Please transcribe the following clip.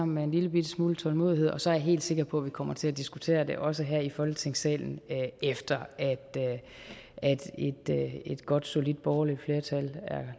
med en lillebitte smule tålmodighed og så er jeg helt sikker på at vi kommer til at diskutere det også her i folketingssalen efter at et godt solidt borgerligt flertal er